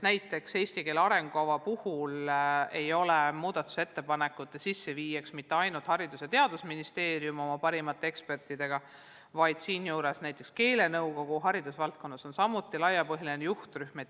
Näiteks eesti keele arengukava puhul ei ole muudatusettepanekute sisseviija mitte ainult Haridus- ja Teadusministeerium oma parimate ekspertidega, ka keelenõukogu on haridusvaldkonnas laiapõhjaline juhtrühm.